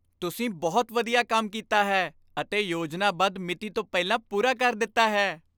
ਤੁਸੀਂ ਬਹੁਤ ਵਧੀਆ ਕੰਮ ਕੀਤਾ ਹੈ ਅਤੇ ਯੋਜਨਾਬੱਧ ਮਿਤੀ ਤੋਂ ਪਹਿਲਾਂ ਪੂਰਾ ਕਰ ਦਿੱਤਾ ਹੈ।